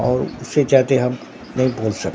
और उससे ज्यादे हम नहीं बोल सक--